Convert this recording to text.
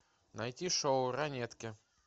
найти шоу ранетки